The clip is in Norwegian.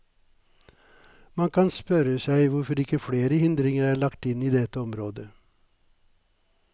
Man kan spørre seg hvorfor ikke flere hindringer er lagt inn i dette området.